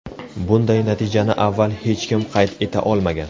Bunday natijani avval hech kim qayd eta olmagan.